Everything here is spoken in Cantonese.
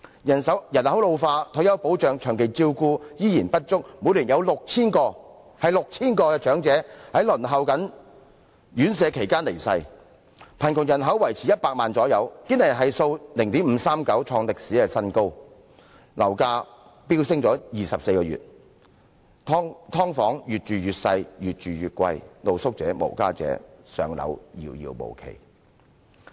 人口老化，退休保障和長期照顧服務依然不足，每年有 6,000 名長者在輪候院舍宿位期間離世；貧窮人口維持在100萬左右；堅尼系數是 0.539， 創歷史新高；樓價已連續飆升24個月；"劏房"越來越細小，越來越昂貴；露宿者和無家者"上樓"更是遙遙無期。